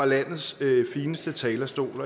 landets fineste talerstol